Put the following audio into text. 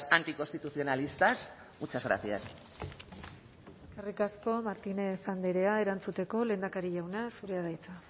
anticonstitucionalistas muchas gracias eskerrik asko martínez andrea erantzuteko lehendakari jauna zurea da hitza